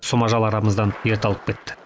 сұм ажал арамыздан ерте алып кетті